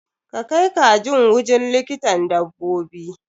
Ka kai kajin wujin likitan dabbobi!